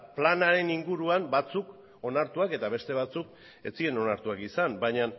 planaren inguruan batzuk onartuak eta beste batzuk ez ziren onartuak izan baina